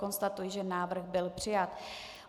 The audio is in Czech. Konstatuji, že návrh byl přijat.